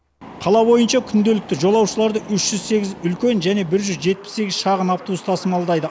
қала бойынша күнделікті жолаушыларды үш жүз сегіз үлкен және бір жүз жетпіс сегіз шағын автобус тасымалдайды